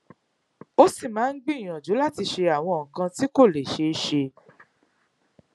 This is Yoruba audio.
ó sì máa ń gbìyànjú láti ṣe àwọn nǹkan tí kò lè ṣeé ṣe